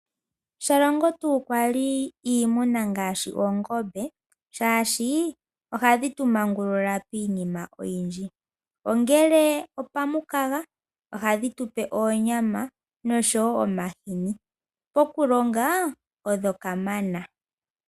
Shalongo tuu pwali iimuna ngaashi oongombe, shaashi ohadhi tu manguluka miinima oyindji. Ongele opamukaga, ohadhi tu pe onyama nosho wo omahini. Okulonga, odho kamana.